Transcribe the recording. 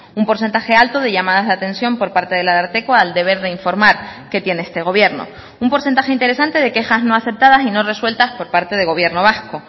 un porcentaje alto de llamadas de atención por parte del ararteko al deber de informar que tiene este gobierno un porcentaje interesante de quejas no aceptadas y no resueltas por parte del gobierno vasco